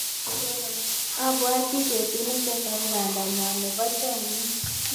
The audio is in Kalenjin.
Abwati petut ne kikitau pandanyon nepo chomyet.